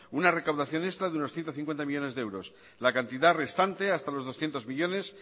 una recaudación extra de unos ciento cincuenta millónes de euros la cantidad restante hasta los doscientos millónes